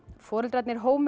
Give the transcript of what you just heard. foreldranir